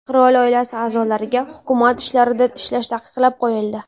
Qirol oilasi a’zolariga hukumat ishlarida ishlash taqiqlab qo‘yildi .